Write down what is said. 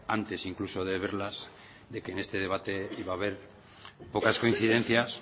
antes incluso de verlas de que en este debate iba a haber pocas coincidencias